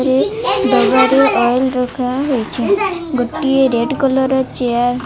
ଚି ଡବା ରେ ଅଏଲ୍ ରଖା ହେଇଛି ଗୋଟିଏ ରେଡ କଲର୍ ର ଚେୟାର --